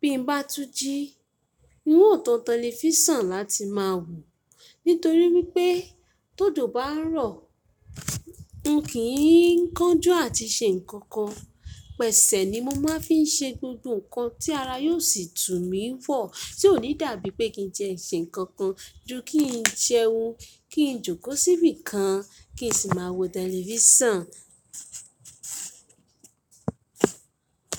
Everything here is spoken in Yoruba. Bí m bá tú jí, n óò tan tẹlifíṣàn láti máa wòó. Nítorí wípé tó jó bá ń rọ̀, n kì í ń kánjú àti ṣe nǹkan kan. Pẹ̀sẹ̀ ni mo máa fi n ṣe gbogbo nǹkan tí ara yóò sì tú mí wọ̀ tí ò ní dàbí pé kí n ti ẹ ṣe nǹkan kan ju kí n jẹun, kí n jókòó síbí kan, kí n sì máa wo tẹlifíṣàn.